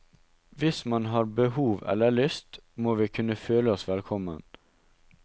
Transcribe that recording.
Hvis man har behov eller lyst, må vi kunne føle oss velkommen.